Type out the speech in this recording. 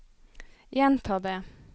gjenta det